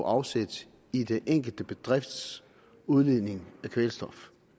afsæt i den enkelte bedrifts udledning af kvælstof